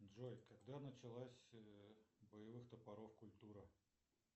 джой когда началась боевых топоров культура